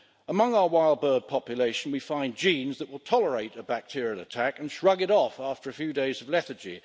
Among our wild bird population we find genes that will tolerate a bacterial attack and shrug it off after a few days of lethargy.